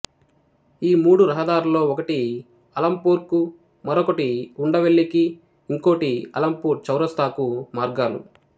ఈ మూడు రహదారులలో ఒకటి అలంపూర్ కుమరొకటి ఉండవెల్లికి ఇంకోటి అలంపూర్ చౌరస్తాకు మార్గాలు